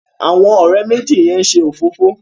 Àwọn òré méjì yén ṣe òfófó.